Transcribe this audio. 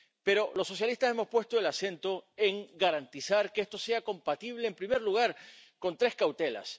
Pero los socialistas hemos puesto el acento en garantizar que esto sea compatible, en primer lugar, con tres cautelas.